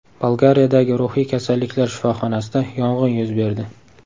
Bolgariyadagi ruhiy kasalliklar shifoxonasida yong‘in yuz berdi.